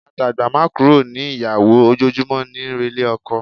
A dàgbá má kúrò ní ìyàwó, ojoojúmọ́ níí relé ọkọ.